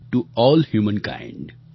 to A L L humankind